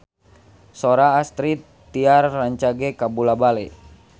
Sora Astrid Tiar rancage kabula-bale